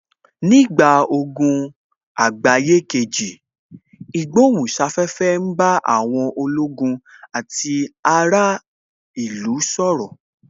Nígbà ogun àgbáyé kejì, ìgbohùn sáfẹ́fẹ́ ń bá àwọn ológun àti ará ìlú sọ̀rọ̀